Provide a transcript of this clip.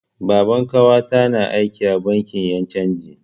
Baban ƙawata na aiki a bankin yan' canji.